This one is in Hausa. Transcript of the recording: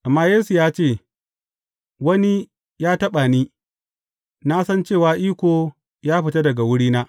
Amma Yesu ya ce, Wani ya taɓa ni, na san cewa iko ya fita daga wurina.